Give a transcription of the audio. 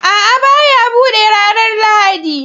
A'a, ba ya buɗe ranar Lahadi